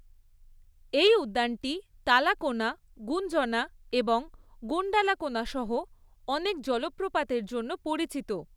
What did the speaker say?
এই উদ্যানটি তালাকোনা, গুঞ্জনা এবং গুণ্ডালাকোনা সহ অনেক জলপ্রপাতের জন্য পরিচিত।